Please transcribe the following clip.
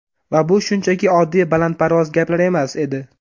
Va bu shunchaki oddiy balandparvoz gaplar emas edi.